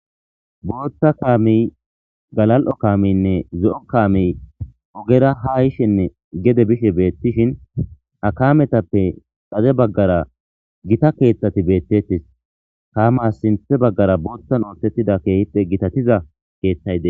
booththa kaamiy galal'o kaamiynne zo7o kaamiy ogera ha yishenne gede bishe beettishin kametappe xade baggara gita keeththati beettettis kaamas sinthe baggara boothtan ooththettida keehippe gitatiza keeththay des